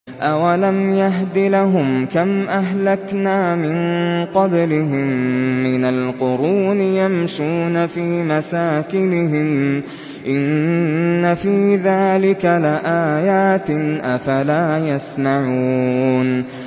أَوَلَمْ يَهْدِ لَهُمْ كَمْ أَهْلَكْنَا مِن قَبْلِهِم مِّنَ الْقُرُونِ يَمْشُونَ فِي مَسَاكِنِهِمْ ۚ إِنَّ فِي ذَٰلِكَ لَآيَاتٍ ۖ أَفَلَا يَسْمَعُونَ